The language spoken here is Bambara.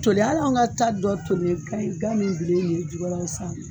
Toli ali anw ka ta dɔ toli